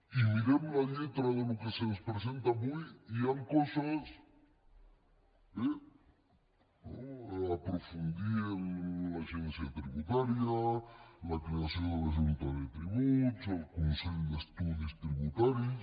i mirem la lletra del que se’ns presenta avui i hi han coses bé no aprofundir en l’agència tributària la creació de la junta de tributs el consell d’estudis tributaris